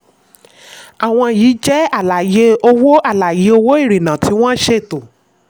àwọn yìí jẹ́ àlàyé owó àlàyé owó ìrìnà tí wọ́n ṣètò.